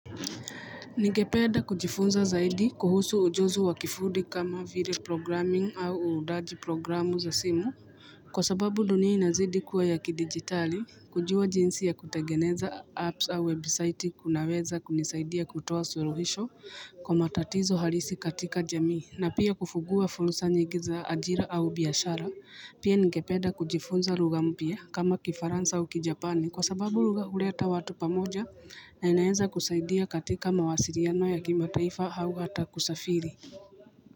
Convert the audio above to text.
Nigepeda kujifunza zaidi kuhusu ujuzi wa kifudi kama vire programming au uudaji programu za simu kwa sababu dunia inazidi kuwa ya kidigitali kujua jinsi ya kutegeneza apps au webisaiti kunaweza kunisaidia kutoa suruhisho kwa matatizo harisi katika jamii na pia kufungua funsa nyigi za ajira au biyashara. Pia ningepeda kujifunza lugha mpia kama kifaransa u kijapani kwa sababu lugha huleta watu pamoja na inaenza kusaidia katika mawasiriano ya kimataifa hau hata kusafiri.